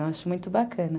Eu acho muito bacana.